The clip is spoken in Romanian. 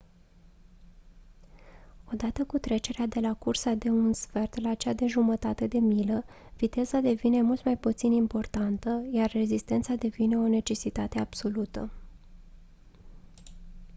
odată cu trecerea de la cursa de un sfert la cea de jumătate de milă viteza devine mult mai puțin importantă iar rezistența devine o necesitate absolută